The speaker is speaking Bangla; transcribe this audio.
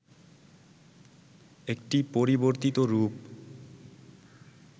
একটি পরিবর্তিত রূপ